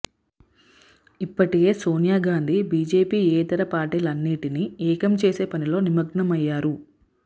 ఇప్పటికే సోనియా గాంధీ బీజేపీయేతర పార్టీలన్నింటినీ ఏకం చేసే పనిలో నిమగ్నమయ్యారు